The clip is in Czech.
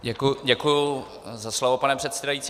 Děkuji za slovo, pane předsedající.